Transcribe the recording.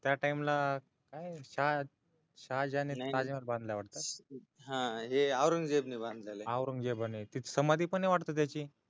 त्या टाईमला शहाजने बांधलेले वाटतय हा हे औंरगजेब ने तिथ समाधी पणय वाटत त्याची